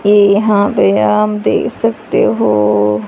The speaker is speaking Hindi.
ये यहां पे आप देख सकते हो--